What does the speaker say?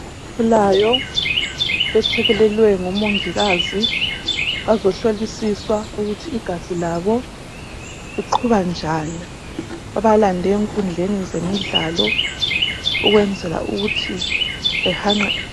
Abasakhulayo bethekelelwe ngabezempilakahle ngomongikazi bazohlolisiswa ukuthi igazi labo liqhuba njani. Babalande enkundleni zemidlalo ukwenzela ukuthi behanqe ...